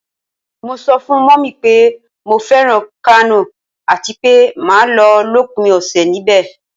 Mo so fun Mummy pe mo feran Kano atipe ma lo lopin ose nibe